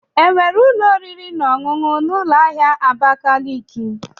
Enwere ụlọ oriri na ọṅụṅụ na ụlọ ahịa Abakaliki.